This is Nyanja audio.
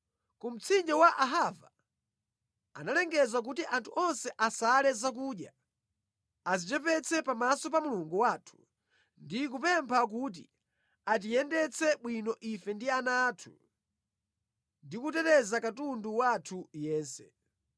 Ku mtsinje wa Ahava, ndinalengeza kuti anthu onse asale zakudya, adzichepetse pamaso pa Mulungu wathu ndi kupempha kuti atiyendetse bwino ife ndi ana athu, ndi kuteteza katundu wathu yense.